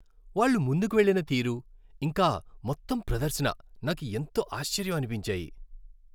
వాళ్ళు ముందుకు వెళ్ళిన తీరు, ఇంకా మొత్తం ప్రదర్శన నాకు ఎంతో ఆశ్చర్యం అనిపించాయి.